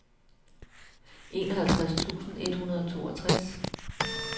enoghalvtreds tusind et hundrede og toogtres